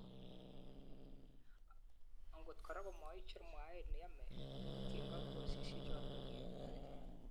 angot koraa komaicher mwaet neyome kotinygei ak kikosisyek chotok kiyoktoi.